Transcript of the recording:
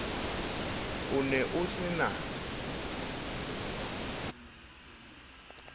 o ne o se na